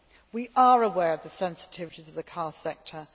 We are aware of the sensitivities of the car sector.